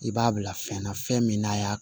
I b'a bila fɛn na fɛn min n'a y'a